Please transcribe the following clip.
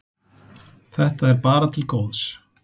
Þetta er bara til góðs.